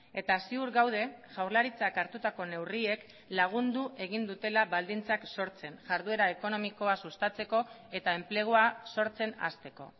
eta ziur gaude jaurlaritzak hartutako neurriek lagundu egin dutela baldintzak sortzen jarduera ekonomikoa sustatzeko eta enplegua sortzen hasteko